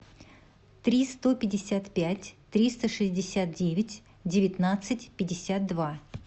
три сто пятьдесят пять триста шестьдесят девять девятнадцать пятьдесят два